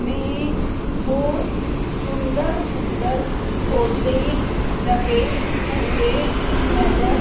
में बहोत सुंदर सुंदर पौधे लगे हुएं नजर--